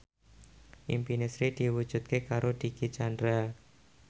impine Sri diwujudke karo Dicky Chandra